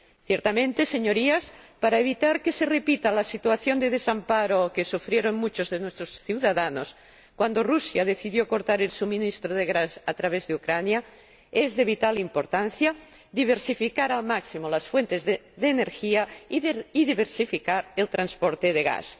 Ciertamente, señorías, para evitar que se repita la situación de desamparo que sufrieron muchos de nuestros ciudadanos cuando Rusia decidió cortar el suministro de gas a través de Ucrania, es de vital importancia diversificar al máximo las fuentes de energía y diversificar el transporte de gas.